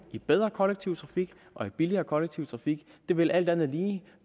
i bedre kollektiv trafik og i billigere kollektiv trafik det vil alt andet lige